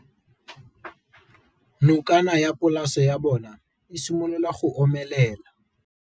Nokana ya polase ya bona, e simolola go omelela.